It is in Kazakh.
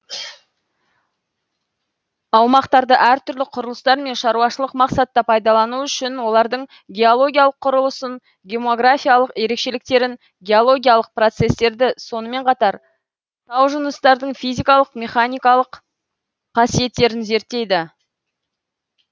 аумақтарды әр түрлі құрылыстар мен шаруашылық мақсатта пайдалану үшін олардың геологиялык құрылысын геоморфологиялык ерекшеліктерін геологиялық процестерді сонымен катар тау жынысытардың физикалық механикалық қасиеттерін зерттейді